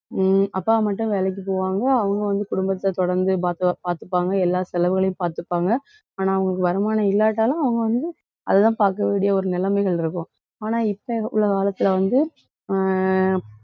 ஹம் அப்பா மட்டும் வேலைக்குப் போவாங்க. அவங்க வந்து, குடும்பத்த தொடர்ந்து பாத்து~ பாத்துப்பாங்க எல்லா செலவுகளையும் பாத்துப்பாங்க. ஆனா, அவங்களுக்கு வருமானம் இல்லாட்டாலும் அவங்க வந்து அதுதான் பாக்க வேண்டிய ஒரு நிலைமைகள் இருக்கும் ஆனா, இப்ப உள்ள காலத்துல வந்து அஹ்